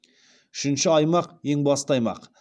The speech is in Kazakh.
үшінші аймақ ең басты аймақ